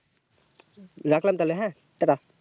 রাখলাম তাহলে হ্যাঁ tata